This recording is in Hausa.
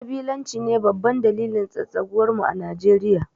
kabilanci ne babban dalilin tsatsaguwar mu a Nijeriya